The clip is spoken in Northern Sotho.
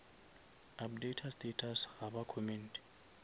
updata status ga ba commente